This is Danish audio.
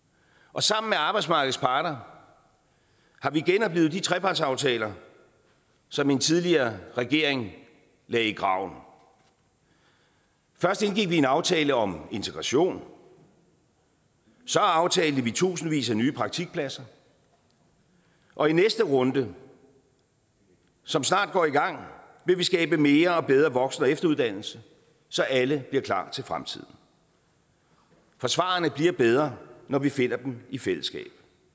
og sammen med arbejdsmarkedets parter har vi genoplivet de trepartsaftaler som en tidligere regering lagde i graven først indgik vi en aftale om integration så aftalte vi tusindvis af nye praktikpladser og i næste runde som snart går i gang vil vi skabe mere og bedre voksen og efteruddannelse så alle bliver klar til fremtiden for svarene bliver bedre når vi finder dem i fællesskab